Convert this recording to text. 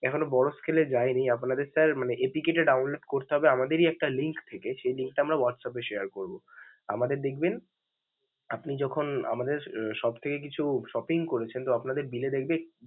এখনো বড় scale এ যায়নি, আপনাদের APK মানে sir টা download করতে হবে আমাদেরই একটা link থেকে. সেই link টা আমরা WhatsApp এ share করবো. আমাদের দেখবেন, আপনি যখন আমাদের অ~ shop থেকে কিছু shopping করেছেন, তো আপনাদের bill এ দেখবে.